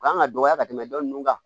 U kan ka dɔgɔya ka tɛmɛ dɔ nunnu kan